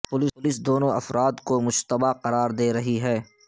police دونوں افراد کو مشتبہ قرار دے رہی ہے